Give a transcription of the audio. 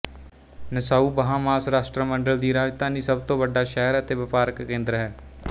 Nassau Bahamas ਰਾਸ਼ਟਰਮੰਡਲ ਦੀ ਰਾਜਧਾਨੀ ਸਭ ਤੋਂ ਵੱਡਾ ਸ਼ਹਿਰ ਅਤੇ ਵਪਾਰਕ ਕੇਂਦਰ ਹੈ